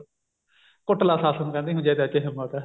ਕੁੱਟਲਾ ਸੱਸ ਨੂੰ ਕਹਿੰਦੀ ਜੇ ਤੇਰੇ ਚ ਹਿੰਮਤ ਹੈ